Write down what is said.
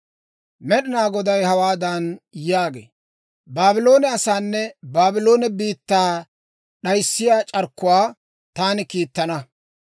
Med'inaa Goday hawaadan yaagee; «Baabloone asaanne Baabloone biittaa d'ayissiyaa c'arkkuwaa taani kiittana.